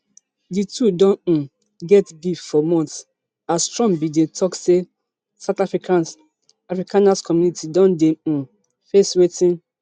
di two don um get beef for months as trump bin dey tok say south africas afrikaner community don dey um face wetin